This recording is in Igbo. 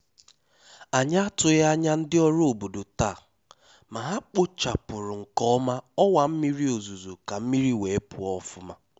Ànyị́ àtụghí ányá ndí ọ́rụ́ òbódó táá, má há kpóchápụ́rụ́ nké ọ́má ọ́wá mmírí òzúzó ká mmírí wéé pụ́ọ́ ọ́fụ́má.